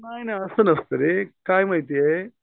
नाही नाही असं नसतं रे काय आहे माहितीये.